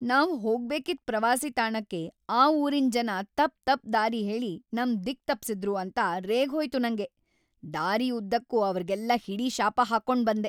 ನಾವ್‌ ಹೋಗ್ಬೇಕಿದ್‌ ಪ್ರವಾಸಿ ತಾಣಕ್ಕೆ ಆ ಊರಿನ್‌ ಜನ ತಪ್‌ ತಪ್‌ ದಾರಿ ಹೇಳಿ ನಮ್‌ ದಿಕ್ಕ್‌ ತಪ್ಸಿದ್ರು ಅಂತ ರೇಗ್‌ ಹೋಯ್ತು ನಂಗೆ, ದಾರಿ ಉದ್ದಕ್ಕೂ ಅವ್ರ್‌ಗೆಲ್ಲ ಹಿಡಿ ಶಾಪ ಹಾಕ್ಕೊಂಡ್‌ ಬಂದೆ.